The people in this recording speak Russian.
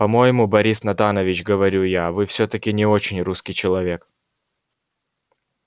по-моему борис натанович говорю я вы всё-таки не очень русский человек